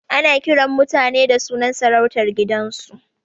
Ana kiran mutane da sunan sarautar gidansu